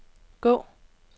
gå